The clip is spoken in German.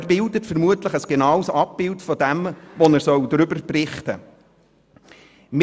Er bietet vermutlich ein genaues Abbild dessen, worüber er berichten soll.